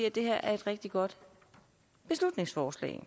at det her er et rigtig godt beslutningsforslag